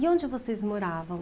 E onde vocês moravam?